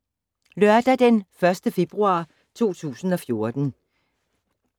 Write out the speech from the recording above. Lørdag d. 1. februar 2014